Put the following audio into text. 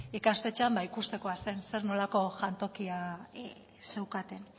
ikastetxean ba ikustekoa zen zer nolako jantokia zeukaten